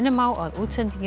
á að útsendingin